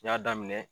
N y'a daminɛ